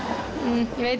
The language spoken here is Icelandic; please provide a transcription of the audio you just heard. ég veit